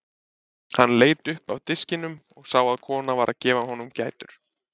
Hann leit upp af diskinum og sá að kona var að gefa honum gætur.